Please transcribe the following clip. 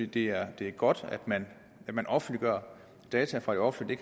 det er godt at man offentliggør data fra det offentlige